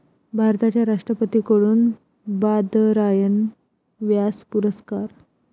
भारताच्या राष्ट्रपती कडून बादरायण व्यास पुरस्कार